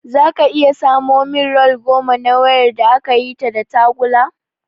Zaka iya samo min rol goma na wayar da akayi ta da tagulla?